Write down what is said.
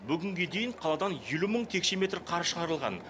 бүгінге дейін қаладан елу мың текше метр қар шығарылған